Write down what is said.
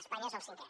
espanya és el cinquè